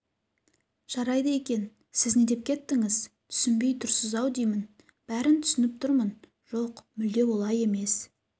жарайды екен сіз не деп кеттіңіз түсінбей тұрсыз-ау деймін бәрін түсініп тұрмын жоқ мүлде олай емес